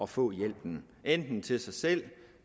få hjælpen enten til sig selv